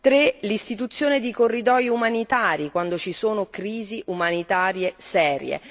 3 L'istituzione di corridoi umanitari quando ci sono crisi umanitarie serie.